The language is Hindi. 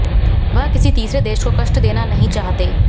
वह किसी तीसरे देश को कष्ट देना नहीं चाहते